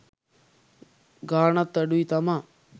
ගාණත් අඩුයි තමා